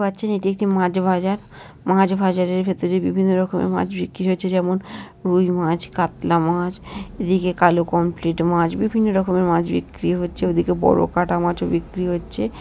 পাচ্ছেন এটি একটি মাছ ভাজার মাছ ভাজারের ভেতরে বিভিন্ন রকমের মাছ বিক্রি হচ্ছে যেমন রুই মাছ কাতলা মাছ এদিকে কালো কমপ্লিট মাছ বিভিন্ন রকমের মাছ বিক্রি হচ্ছে ওদিকে বড় কাঠা মাছও বিক্রি হচ্ছে।